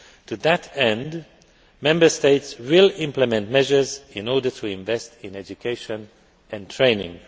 To that end, Member States will implement measures in order to invest in education and training.